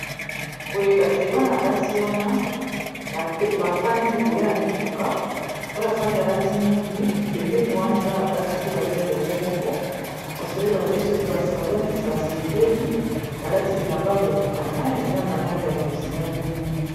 boyekasi ebana basi wana bafandi likolo ya mituka oyo afandi alati mwindu pembeni wana eza na basi pe baza elongo moko kasi oyeba te soki baza neti basepeli balati bilamba ya kokokana eza na langi ya bozinga pe mwindu